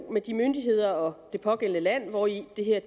med de myndigheder og det pågældende land hvori det her